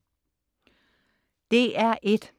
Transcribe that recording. DR1: